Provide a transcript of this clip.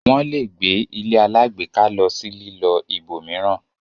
wón lẹ gbé ilé alágbèéká ló sì lilọ ibòmíràn